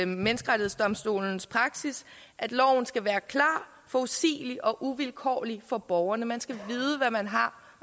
menneskerettighedsdomstolens praksis at loven skal være klar forudsigelig og uvilkårlig for borgerne man skal vide hvad man har